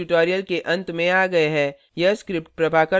अब हम इस tutorial के अंत में आ गए है